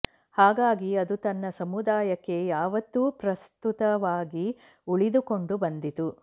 ಹಾಗಾಗಿ ಅದು ತನ್ನ ಸಮೂದಾಯಕ್ಕೆ ಯಾವತ್ತೂ ಪ್ರಸ್ತುತವಾಗಿ ಉಳಿದುಕೊಂಡು ಬಂದಿತು